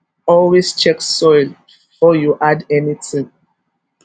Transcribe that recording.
always check soil before you add anything